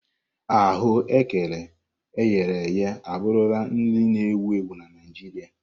Aghù ékẹrè eghere eghe abụrụla nri na-ewu ewu na Naịjirịa.